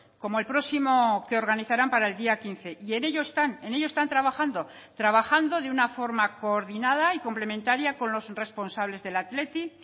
como el próximo que organizarán para el día quince y en ello están en ello están trabajando trabajando de una forma coordinada y complementaria con los responsables del athletic